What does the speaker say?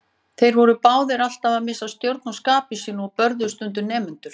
Þeir voru báðir alltaf að missa stjórn á skapi sínu og börðu stundum nemendur.